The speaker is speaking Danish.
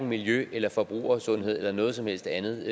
miljø eller forbrugersundhed eller noget som helst andet